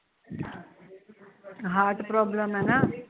heart problem ਐ ਨਾ